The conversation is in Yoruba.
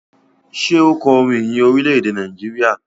Ṣe o kò orin ìyìn Orilẹ-ede Nàìjíríà?